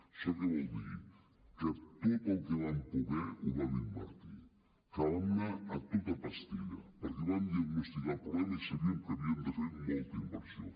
això què vol dir que tot el que vam poder ho vam invertir que vam anar a tota pastilla perquè vam diagnosticar el problema i sabíem que havíem de fer molta inversió